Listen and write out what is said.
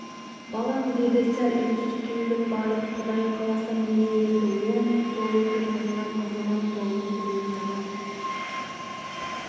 балам деді сәл үнсіз түйіліп барып құдай қаласа міне енді оң-солыңды таныған азамат болдың бүгін саған